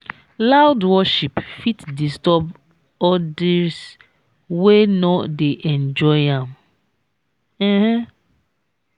loud worship fit disturb odirs wey no dey enjoy am. um